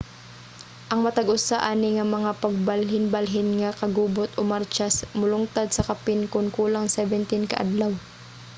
ang matag usa ani nga mga pagbalhinbalhin nga kagubot o martsa molungtad sa kapin kun kulang 17 ka adlaw